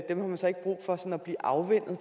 dem har man så ikke brug for at blive afvænnet